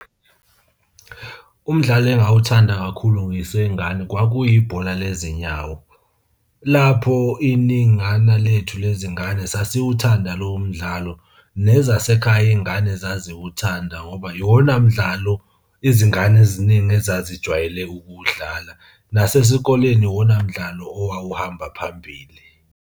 Umdlalo engawuthanda kakhulu ngiseyingane kwakuyibhola lezinyawo. Lapho iningana lethu lezingane sasiwuthatha lowo mdlalo. Nezasekhaya iy'ngane zaziwuthanda ngoba iwona mdlalo izingane eziningi ezazijwayele ukuwudlala. Nasesikoleni iwona mdlalo owawuhamba phambili.